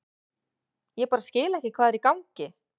Ég bara skil ekki hvað er í gangi.